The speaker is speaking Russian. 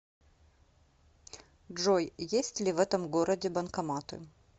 джой есть ли в этом городе банкоматы